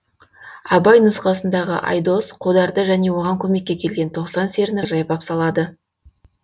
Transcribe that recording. абай нұсқасындағы айдос қодарды және оған көмекке келген тоқсан серіні жайпап салады